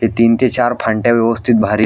ते तीन ते चार फांटया व्यवस्थित भारी.